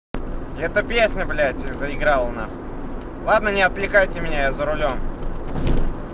это песня блять заиграла нахуй на ладно не отвлекайте меня за рулём